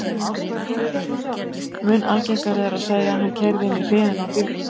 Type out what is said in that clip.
Mun algengara er að segja: Hann keyrði inn í hliðina á bílnum